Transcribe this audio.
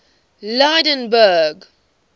lydenburg